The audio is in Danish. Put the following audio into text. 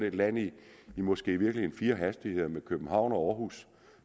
et land i måske i virkeligheden fire hastigheder med københavn og aarhus